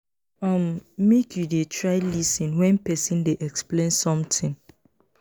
um make you dey try lis ten wen pesin dey explain sometin.